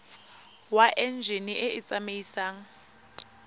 wa enjine e e tsamaisang